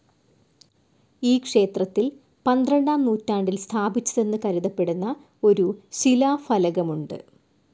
ഈ ക്ഷേത്രത്തിൽ പന്ത്രണ്ടാം നൂറ്റാണ്ടിൽ സ്ഥാപിച്ചതെന്നു കരുതപ്പെടുന്ന ഒരു ശിലാഫലകമുണ്ട്.